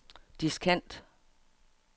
diskant